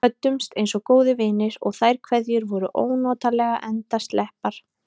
Við kvöddumst einsog góðir vinir, og þær kveðjur voru ónotalega endasleppar.